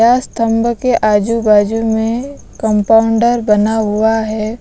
स्तंभ के आजूबाजू में कंपाउंडर बना हुआ है।